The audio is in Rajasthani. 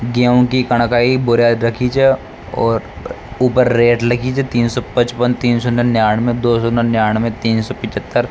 गेहू की कनकई बोरिया रखी छे और ऊपर रेट लिखी छे तीन सौ पचपन तीन सौ निन्यानवे दो सौ निन्यानवे तीन सो पिछत्तर।